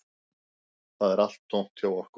Það er allt tómt hjá okkur